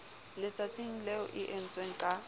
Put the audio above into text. letsatsing leo e entsweng ka